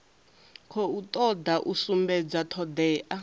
khou toda u sumbedza thodea